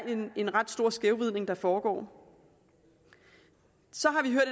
en ret stor skævvridning der foregår så